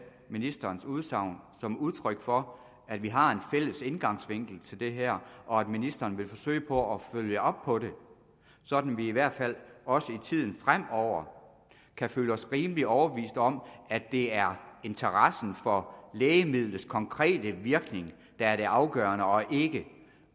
ministerens udsagn som udtryk for at vi har en fælles indgangsvinkel til det her og at ministeren vil forsøge på at følge op på det sådan at vi i hvert fald også i tiden fremover kan føle os rimelig overbeviste om at det er interessen for lægemidlets konkrete virkning der er det afgørende og ikke